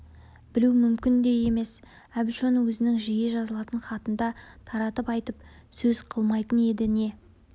білу мүмкін де емес әбіш оны өзінің жиі жазылатын хатында таратып айтып сөз қылмайтын енді не